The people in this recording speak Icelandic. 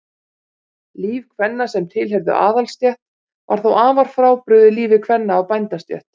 líf kvenna sem tilheyrðu aðalsstétt var þó afar frábrugðið lífi kvenna af bændastétt